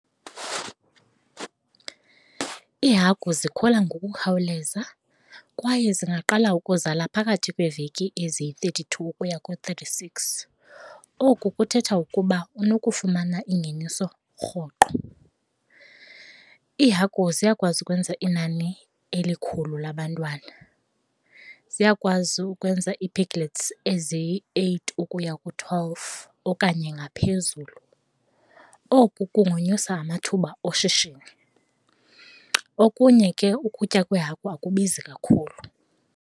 Iihagu zikhula ngokukhawuleza kwaye zingaqala ukuzala phakathi kweveki eziyi-thirty two ukuya ku-thirty six, oku kuthetha ukuba unokufumana ingeniso rhoqo. Iihagu ziyakwazi ukwenza inani elikhulu labantwana, ziyakwazi ukwenza ii-piglets eziyi-eight ukuya ku-twelve okanye ngaphezulu, oku kunganyusa amathuba oshishino. Okunye ke ukutya kweehagu akubizi kakhulu.